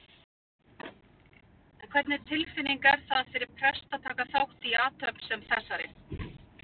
En hvernig tilfinning er það fyrir prest að taka þátt í athöfn sem þessari?